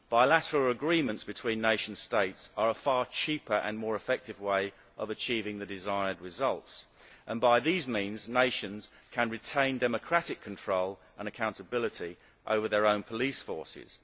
Bilateral agreements between nation states are a far cheaper and more effective way of achieving the desired results, and by these means nations can retain democratic control and accountability over their own police forces.